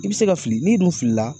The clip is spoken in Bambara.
I bɛ se ka fili n'i dun filila